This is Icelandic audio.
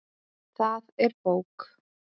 Það er bók.